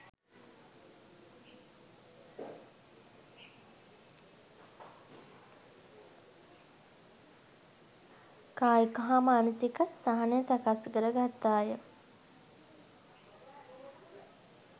කායික හා මානසික සහනය සකස්කරගත්තා ය.